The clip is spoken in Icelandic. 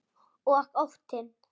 Og óttinn.